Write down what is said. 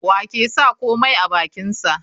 Wa ke sa komai a bakinsa?